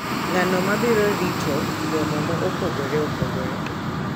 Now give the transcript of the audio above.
Ng’ano ma biro rito romo mopogore opogore,